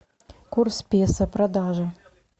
курс песо продажа